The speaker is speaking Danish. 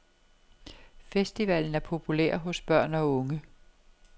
Festivalen er populær hos børn og unge.